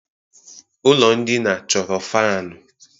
Ụlọ ndina chọrọ fanu